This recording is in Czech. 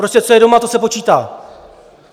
Prostě co je doma, to se počítá.